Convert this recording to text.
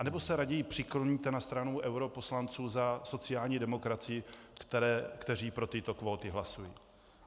Anebo se raději přikloníte na stranu europoslanců za sociální demokracii, kteří pro tyto kvóty hlasují?